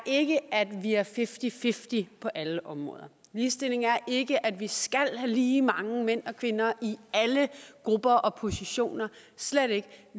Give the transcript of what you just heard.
ikke er at vi er fifty fifty på alle områder ligestilling er ikke at vi skal have lige mange mænd og kvinder i alle grupper og positioner slet ikke